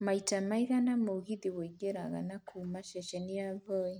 maita maigana mũgithi wĩingĩraga na kuuma ceceni ya voi